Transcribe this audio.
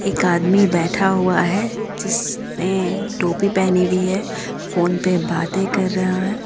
एक आदमी बैठा हुआ है जिसने टोपी पहनी हुई है फोन पे बाते कर रहा है।